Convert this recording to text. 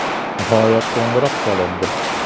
Nihoyat qo‘ng‘iroq chalindi.